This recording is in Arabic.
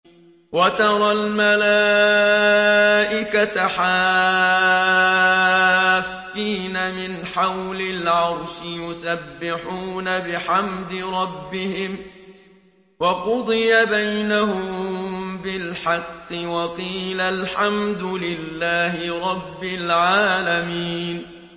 وَتَرَى الْمَلَائِكَةَ حَافِّينَ مِنْ حَوْلِ الْعَرْشِ يُسَبِّحُونَ بِحَمْدِ رَبِّهِمْ ۖ وَقُضِيَ بَيْنَهُم بِالْحَقِّ وَقِيلَ الْحَمْدُ لِلَّهِ رَبِّ الْعَالَمِينَ